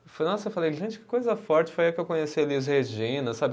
Eu falei nossa, eu falei, gente, que coisa forte, foi aí que eu conheci a Elis Regina, sabe?